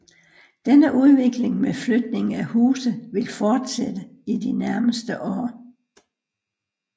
Denne udvikling med flytning af huse vil fortsætte i de nærmeste år